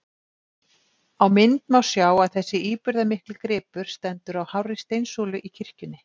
Á mynd má sjá að þessi íburðarmikli gripur stendur á hárri steinsúlu í kirkjunni.